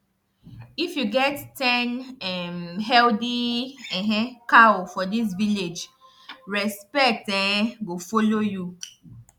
if you get ten um healthy um cow for this village respect um go follow you